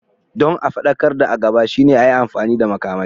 Don a faɗakar da a gaba shine a yi amfani da makamai.